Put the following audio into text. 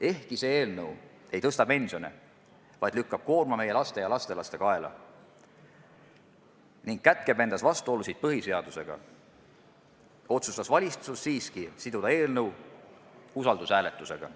Ehkki see eelnõu ei suurenda pensione, vaid lükkab koorma meie laste ja lastelaste kaela ning kätkeb endas vastuolusid põhiseadusega, otsustas valitsus siiski siduda eelnõu usaldushääletusega.